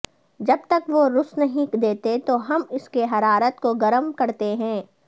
جب تک وہ رس نہیں دیتے تو ہم اس کی حرارت کو گرم کرتے ہیں